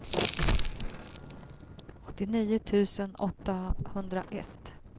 åttionio tusen åttahundraett